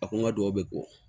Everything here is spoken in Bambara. A ko n ka duwawu bɛ bɔ